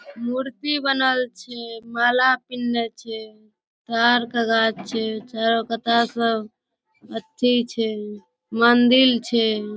मूर्ति बनल छै माला पिन्हले छै तार के गाछ छै चारो कता सब अथी छै मंदिल छै ।